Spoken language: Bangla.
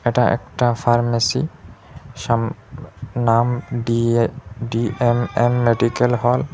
এটা একটা ফার্মেসি সাম নাম ডিএ ডি_এম_এন মেডিকেল হল ।